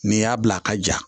N'i y'a bila a ka ja